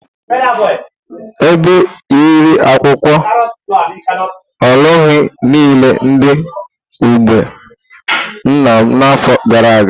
Ebe riri akwụkwọ olugbu nile dị n'ugbo nna m n'afọ gara aga.